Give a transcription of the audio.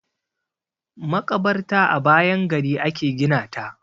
Maƙabarta a bayan gari a ke gina ta.